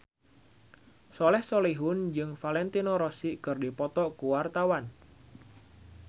Soleh Solihun jeung Valentino Rossi keur dipoto ku wartawan